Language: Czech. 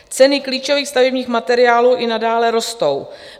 Ceny klíčových stavebních materiálů i nadále rostou.